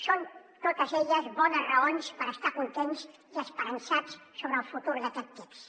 són totes elles bones raons per estar contents i esperançats sobre el futur d’aquest text